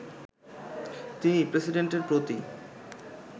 তিনি প্রেসিডেন্টের প্রতি